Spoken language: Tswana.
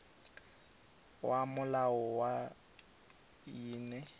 ya molao wa khomi ene